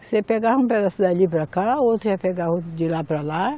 Você pegava um pedaço dali para cá, outro ia pegar outro de lá para lá.